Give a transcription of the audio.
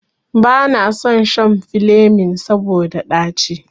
Banason shan filemin saboda ɗaci.